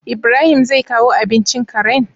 IIbrahim zai kawo abincin Karen?